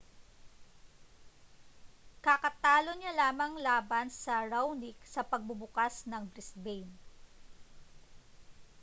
kakatalo niya lamang laban sa raonic sa pagbubukas ng brisbane